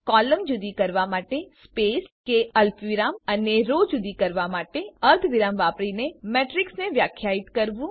column જુદી કરવા માટે સ્પેસ કે અલ્પવિરામ અને રો જુદી કરવા માટે અર્ધવિરામ વાપરીને મેટ્રીક્સને વ્યાખ્યાયિત કરવું